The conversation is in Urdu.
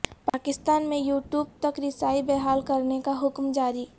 پاکستان میں یو ٹیوب تک رسائی بحال کرنے کا حکم جاری